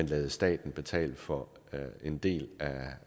lade staten betale for en del